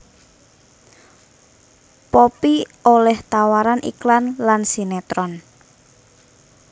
Poppy olih tawaran iklan lan sinetron